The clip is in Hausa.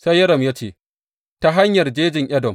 Sai Yoram ya amsa ya ce, Ta hanyar jejin Edom.